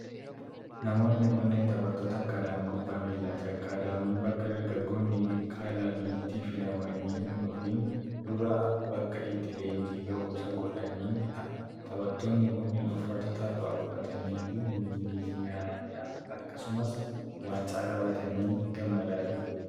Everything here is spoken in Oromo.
Namoonni kunneen taphattoota akkaadaamii kubbaa miilaati. Akkaadaamiin bakka dargagoonni gara kilaabaatti filamanii hin dhufin dura, bakka itti leenjii gahuumsaa godhanii dha. Taphattoonni kunneen uffata taphaa uffatanii fi meedaaliyaa akkasumas waancaa qabatanii gammadaa jiru.